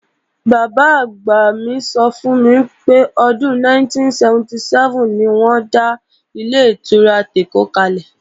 Bàbá-àgbà mi sọ fún mi pé, ọdún 1977 ni wọ́n dá Ilé-ìtura tèkó kalẹ̀